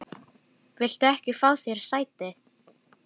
Viltu ekki fá þér sæti?